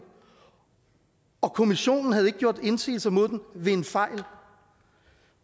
og kommissionen havde ikke gjort indsigelser mod den ved en fejl